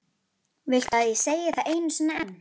Flest efnahvörf í lifandi frumu eru hvötuð af ensímum.